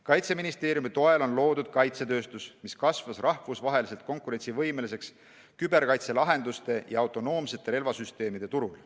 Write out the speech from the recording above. Kaitseministeeriumi toel on loodud kaitsetööstus, mis on kasvanud rahvusvaheliselt konkurentsivõimeliseks küberkaitselahenduste ja autonoomsete relvasüsteemide turul.